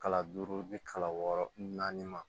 Kalo duuru bi kalo wɔɔrɔ naani ma